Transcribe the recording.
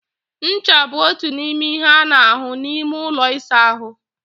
Ncha bụ otu n'ime ihe a na-ahụ n'ime ụlọ ịsa ahụ.